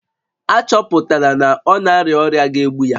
A chọpụtala na ọ na-arịa ọrịa ga-egbu ya